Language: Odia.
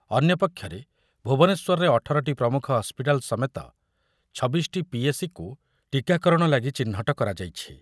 ଅନ୍ୟପକ୍ଷରେ ଭୁବନେଶ୍ବରରେ ଅଠର ଟି ପ୍ରମୁଖ ହସ୍ପିଟାଲ ସମେତ ଛବିଶ ଟି ପି ଏ ସି କୁ ଟୀକାକରଣ ଲାଗି ଚିହ୍ନଟ କରାଯାଇଛି ।